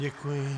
Děkuji.